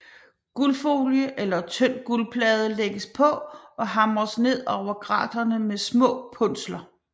Guldfolie eller tynd guldplade lægges på og hamres ned over graterne med små punsler